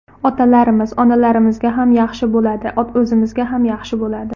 Otalarimiz, onalarimizga ham yaxshi bo‘ladi, o‘zimizga ham yaxshi bo‘ladi.